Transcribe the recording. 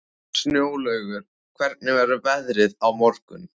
Snjólaugur, hvernig verður veðrið á morgun?